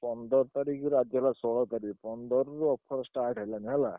ପନ୍ଦର ତାରିଖ୍ ଆଜି ହେଲା ଷୋଳ ତାରିଖ୍ ପନ୍ଦରରୁ offer start ହେଲାଣି ହେଲା।